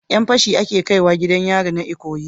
Yan fashi ake kaiwa gidan yari na ikoyi